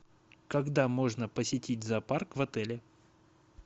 когда можно посетить зоопарк в отеле